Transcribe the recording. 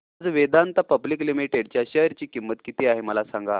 आज Vedanta public limited च्या share ची किंमत किती आहे मला सांगा